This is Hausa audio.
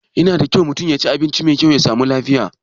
Yana da kyau mutum yaci abinci mai kyau ya sami lafiya